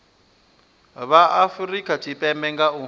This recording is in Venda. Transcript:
vha afurika tshipembe nga u